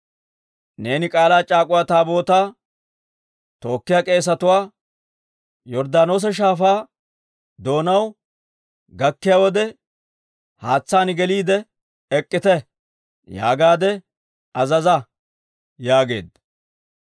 Neeni K'aalaa c'aak'uwa Taabootaa tookkiyaa k'eesetuwaa, ‹Yorddaanoosa Shaafaa doonaw gakkiyaa wode, haatsaan geliide ek'k'ite› yaagaadde azaza» yaageedda.